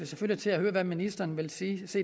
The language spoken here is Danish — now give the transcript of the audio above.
selvfølgelig til at høre hvad ministeren vil sige